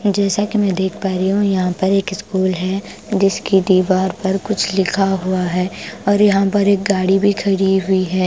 जैसा कि मैं देख पा रही हूं यहां पर एक स्कूल है जिसकी दीवार पर कुछ लिखा हुआ है और यहां पर एक गाड़ी भी खड़ी हुई है ।